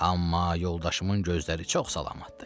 Amma yoldaşımın gözləri çox salamattır.